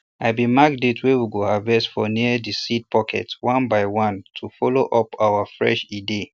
i bin mark date wey we go harvest for near de seed packet one by one to follow up our fresh e dey